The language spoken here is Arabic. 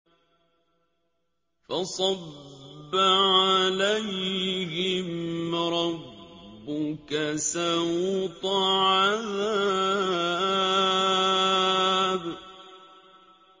فَصَبَّ عَلَيْهِمْ رَبُّكَ سَوْطَ عَذَابٍ